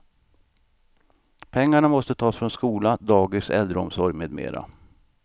Pengarna måste tas från skola, dagis, äldreomsorg med mera.